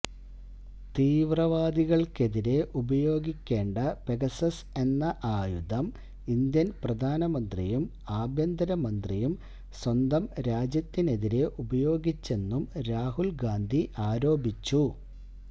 തീവ്രവാദികൾക്കെതിരേ ഉപയോഗിക്കേണ്ട പെഗസ്സസ് എന്ന ആയുധം ഇന്ത്യൻ പ്രധാനമന്ത്രിയും ആഭ്യന്തരമന്ത്രിയും സ്വന്തം രാജ്യത്തിനെതിരേ ഉപയോഗിച്ചെന്നും രാഹുൽ ഗാന്ധി ആരോപിച്ചു